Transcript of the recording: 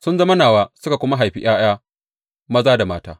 Sun zama nawa suka kuma haifi ’ya’ya maza da mata.